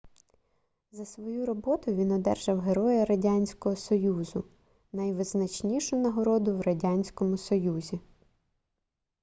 за свою роботу він одержав героя радянського союзу - найвизначнішу нагороду в радянському союзі